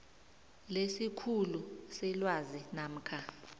lesikhulu selwazi namkha